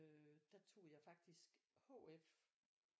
Øh der tog jeg faktisk HF